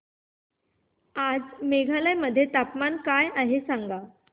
आज मेघालय मध्ये तापमान काय आहे सांगा